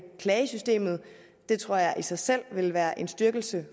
klagesystemet det tror jeg i sig selv vil være en styrkelse